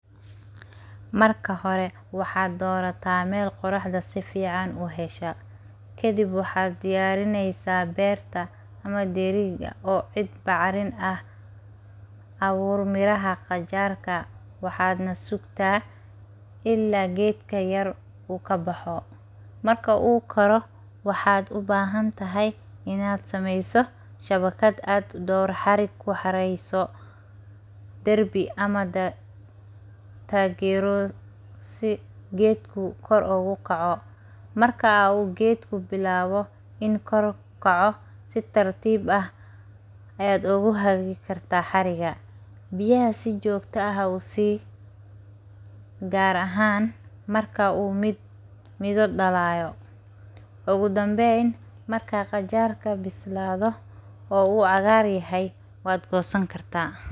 Marka hore waxaad dorataa meel qorraxda sifiican u hesha ,kadib waxaad diyarinesaa beerta oo ciid bacrin ah leh ,ku gur miraha qajarka waxaadna ku ridda ilaa geedka yar uu ka baxo . Marka uu baxo waxaad u baahan tahay inaad sameyso shabakad casri ah oo ku xareyso darbi ama meel uu geedka kor ogu kaco . Marka geedka bilaawo in kor u kaco si tartiib ahayaad ogu xiri kartaa xariga biyaha si joogta ah u sii gaar ahaan marka uu midho dhalaayo Ugudambeyn ,maraa qajarka bislaado oo uu cagaar yahay waad goosan kartaa.